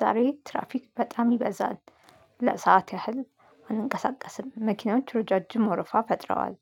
ዛሬ ትራፊክ በጣም ይበዛል። ለሰአት ያህል አንንቀሳቀስም መኪናዎች ረዣዥም ወርፋ ፈጥረዋል።